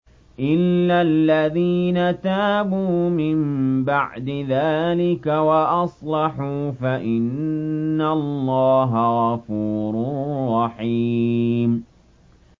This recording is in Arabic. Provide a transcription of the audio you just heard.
إِلَّا الَّذِينَ تَابُوا مِن بَعْدِ ذَٰلِكَ وَأَصْلَحُوا فَإِنَّ اللَّهَ غَفُورٌ رَّحِيمٌ